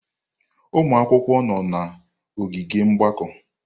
Ụmụ akwụkwọ nọ n'ogige mgbakọ.